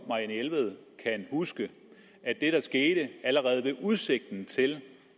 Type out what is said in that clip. marianne jelved kan huske at det der skete allerede ved udsigten til